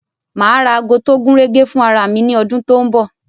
Ma ra ago tó gúnrégé fún ara mi ní ọdún tó ń bọ̀